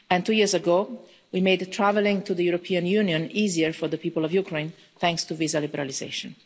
And two years ago, we made travelling to the European Union easier for the people of Ukraine, thanks to visa liberalisation.